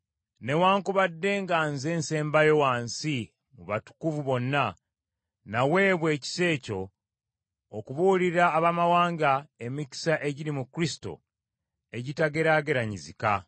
Newaakubadde nga nze nsembayo wansi mu batukuvu bonna, naweebwa ekisa ekyo, okubuulira Abaamawanga emikisa egiri mu Kristo egitageraageraganyizika.